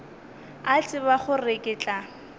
a tseba gore ke tla